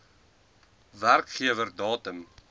nr werkgewer datum